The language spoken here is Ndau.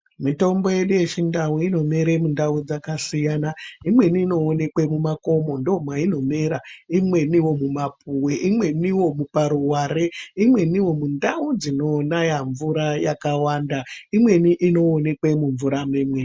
Mitombo yedu yechindau, inomere mundau dzakasiyana. Imweni inowonekwe mumakomo ndomayinomera, imweni mumapuwe, imweniwo paruware, imweniwo mundau dzinonaya mvura yakawanda, imweni inowonekwa mumvura.